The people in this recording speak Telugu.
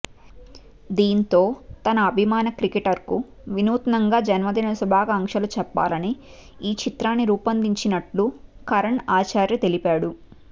దీంతో తన అభిమాన క్రికెటర్కు వినూత్నంగా జన్మదిన శుభాకాంక్షలు చెప్పాలని ఈ చిత్రాన్ని రూపొందించినట్లు కరణ్ ఆచార్య తెలిపాడు